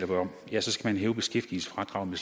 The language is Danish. vi om jo så skal man hæve beskæftigelsesfradraget med